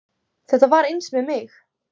Þetta var eins með mig